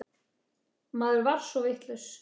Maður var svo vitlaus.